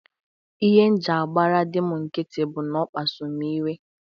Ihe m jị agbara dị m nkiti bụ n'ọ kpasuru m iwe.